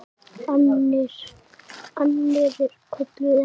Annir kölluðu að.